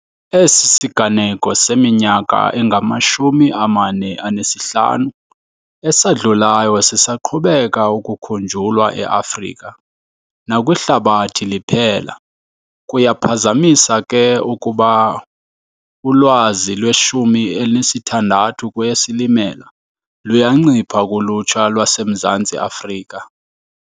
Esi siganeko seminyaka engama-45 esadlulayo sisaqhubeka ukukhunjulwa e-Afrika nakwihlabathi liphela. Kuyaphazamisa ke ukuba ulwazi lwe-16 kweyeSilimela luyancipha kulutsha lwaseMzantsi Afrika.